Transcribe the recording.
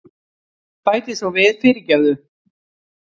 Bæti svo við, fyrirgefðu.